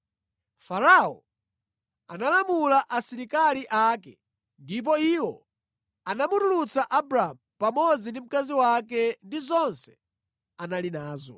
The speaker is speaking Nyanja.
Farao analamula asilikali ake ndipo iwo anamutulutsa Abramu pamodzi ndi mkazi wake ndi zonse anali nazo.